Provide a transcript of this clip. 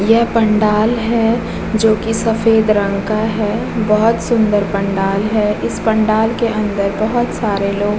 यह पंडाल है जो की सफेद रंग का है बहुत सुन्दर पंडाल है। इस पंडाल के अंदर बहुत सारे लोग --